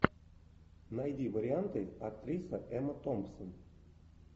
найди варианты актриса эмма томпсон